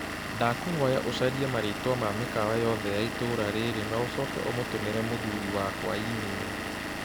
Ndakũhoya ũcharĩe marĩĩtwa ma mĩkawa yoothe ya itũũra rĩrĩ na ũcooke ũmũtũmĩre mũthuri wakwa i-mīrū.